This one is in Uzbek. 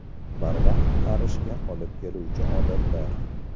Barvaqt qarishga olib keluvchi odatlar.